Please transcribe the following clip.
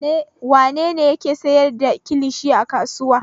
Wane ne yake sayar da kilishi a kasuwa?